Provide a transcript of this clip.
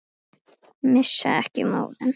Missa ekki móðinn.